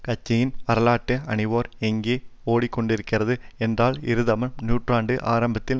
கத்தியின் வரலாற்று ஆணிவேர் எங்கே ஓடி கொண்டிருக்கிறது என்றால் இருபதாம் நூற்றாண்டு ஆரம்பத்தில்